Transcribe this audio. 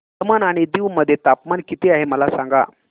दमण आणि दीव मध्ये तापमान किती आहे मला सांगा